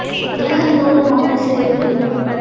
உலகந் தோறும் மௌனச் சிறைக்குள்